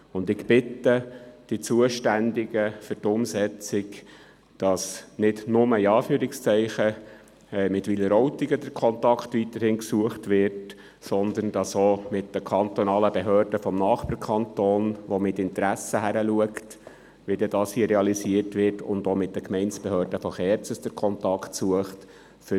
Und ich bitte die für die Umsetzung Zuständigen, dass nicht nur – in Anführungszeichen – mit Wileroltigen der Kontakt weiterhin gesucht wird, sondern dass auch mit den kantonalen Behörden des Nachbarkantons, der mit Interesse hinschaut, wie das dann dort realisiert wird, und auch mit den Gemeindebehörden von Kerzers der Kontakt gesucht wird.